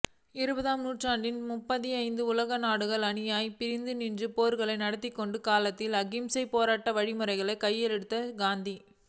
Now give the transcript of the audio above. இருபதாம் நூற்றாண்டின் முதற்பாதியில் உலக நாடுகள் அணியணியாய்ப் பிரிந்துநின்று போர்களை நடத்திக்கொண்டிருந்த காலத்தில் அகிம்சையைப் போராட்ட வழிமுறையாகக் கையிலெடுத்தவர் காந்தி